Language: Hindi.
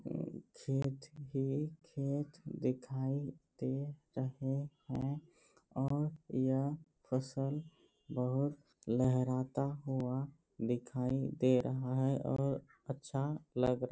खेत ही खेत दिखाई दे रहें हैं और यह फसल बहुत लहराता हुआ दिखाई दे रहा है और ये अच्छा लग रहा --